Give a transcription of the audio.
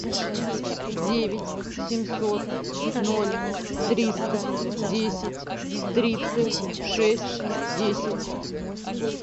девять семьсот ноль триста десять тридцать шесть десять